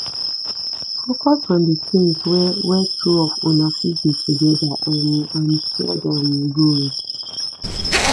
focus on di things wey wey two of una fit do together um and shared um goals